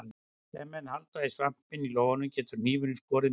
Ef menn halda á svampinum í lófanum getur hnífurinn skorið mann illa.